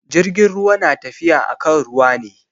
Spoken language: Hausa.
Jirgin ruwa na tafiya akan ruwa ne.